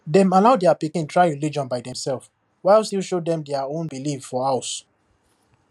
dem allow their pikin try religion by themselves while still show them their own belief for house